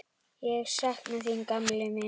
Ég sakna þín, gamli minn.